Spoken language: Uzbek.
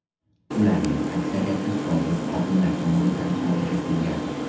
Ularning aksariyati sobiq xodimlar tomonidan sodir etilgan.